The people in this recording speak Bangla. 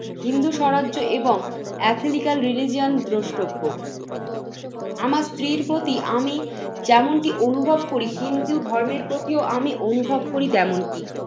হিন্দু স্বরাজ্য এবং atheletic religion দ্রষ্টব্য আমার স্ত্রীর প্রতি আমি যেমনটি অনুভব করি হিন্দু ধর্মের প্রতিও আমি অনুভব করি তেমনটি।